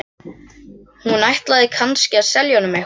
Hún ætlaði kannski að selja honum eitthvað.